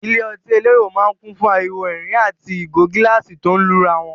Ilé ọtí elérò máa ń kùn fún ariwo ẹ̀rín àti ìgò gíláàsì tó ń lura wọn.